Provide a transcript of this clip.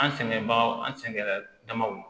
An sɛgɛn bagaw an sɛgɛnmaw